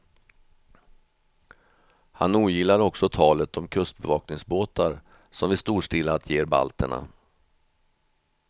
Han ogillar också talet om kustbevakningsbåtar som vi storstilat ger balterna.